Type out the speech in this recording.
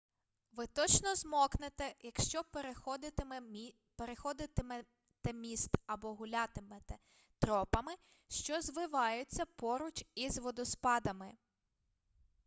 ви точно змокнете якщо переходитимете міст або гулятимете тропами що звиваються поруч із водоспадами